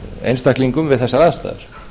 einstaklingum við þessar aðstæður